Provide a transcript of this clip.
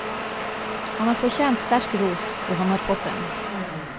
Han har fortjent sterk ros, og han har fått den.